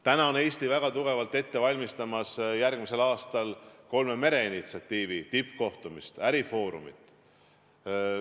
Täna on Eesti väga tugevalt ette valmistamas järgmisel aastal toimuvat kolme mere initsiatiivi tippkohtumist, ärifoorumit.